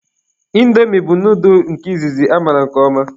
Indomi bụ noodul izizi amaara nke ọma.